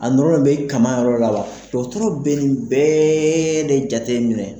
A nɔrɔ bɛ kama yɔrɔ la wa, dɔgɔtɔrɔro bɛ nin bɛɛɛɛ de jateminɛ.